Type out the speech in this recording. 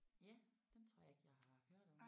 Ja den tror jeg ikke jeg har hørt om